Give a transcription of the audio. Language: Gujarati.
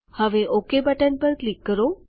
હવે ઓક બટન પર ક્લિક કરો